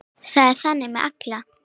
Það er þannig með alla.